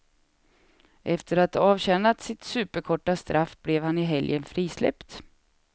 Efter att ha avtjänat sitt superkorta straff blev han i helgen frisläppt.